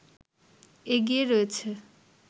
এগিয়ে রয়েছে